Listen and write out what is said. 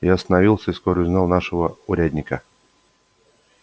я остановился и вскоре узнал нашего урядника